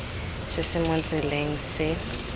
se se mo tseleng se